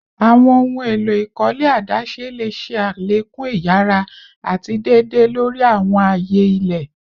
Awọn ohun elo ikole adaṣe le ṣe alekun iyara ati deede lori awọn aaye ile